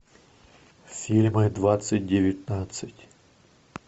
фильмы двадцать девятнадцать